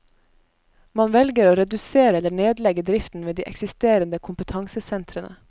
Man velger å redusere eller nedlegge driften ved de eksisterende kompetansesentrene.